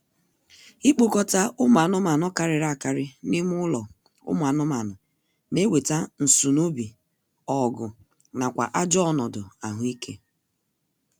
Ikpokọta ụmụ anụmaanụ karịrị akarị n'ime ụlọ ụmụ anụmanụ na-eweta nsunoobi, ọgụ, nakwa ajọ ọnọdụ ahụ ike